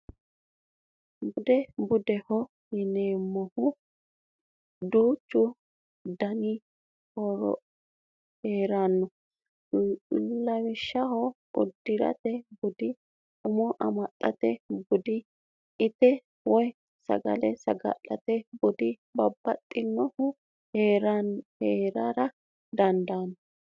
Bude budeho yineemmohu duuchu danihu heeranno lawishshaho uddirate budi umo amaxxate budi itate woyi sagale saga'late budi babbaxxinohu heerara dandaanno